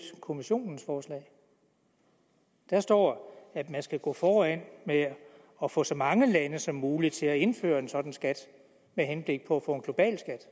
kommissionens forslag der står at man skal gå foran med at få så mange lande som muligt til at indføre en sådan skat med henblik på at få en global skat